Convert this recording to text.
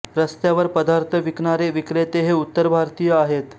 रस्त्यावर पदार्थ विकणारे विक्रेते हे उत्तर भारतीय आहेत